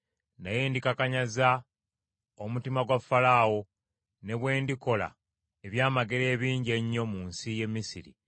Naye ndikakanyaza omutima gwa Falaawo; ne bwe ndikolera ebyamagero ebingi ennyo mu nsi y’e Misiri,